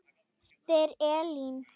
spyr Elín.